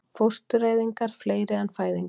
Fóstureyðingar fleiri en fæðingar